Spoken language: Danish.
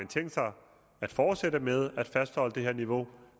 tænkt sig at fortsætte med at fastholde det niveau